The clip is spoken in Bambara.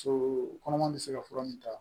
So kɔnɔma bɛ se ka fura min ta